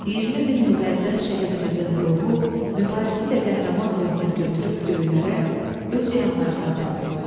20 min müqəddəs şəhidimizin ruhu Mübarizin də qəhrəman ruhunu götürüb göylərə öz yanlarına apardılar.